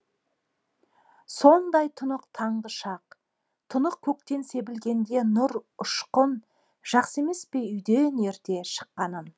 сондай тұнық таңғы шақ тұнық көктен себілгенде нұр ұшқын жақсы емес пе үйден ерте шыққаның